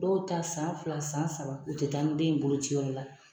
Dɔw ta san fila san saba u tɛ taa ni den ye boloci yɔrɔ la.